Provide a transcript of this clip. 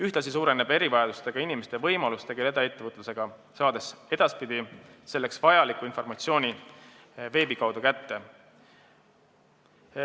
Ühtlasi suureneb erivajadustega inimeste võimalus tegeleda ettevõtlusega, kuna nad saavad edaspidi selleks vajaliku informatsiooni veebi kaudu kätte.